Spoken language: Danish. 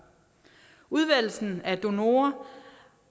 udvælgelsen af donorer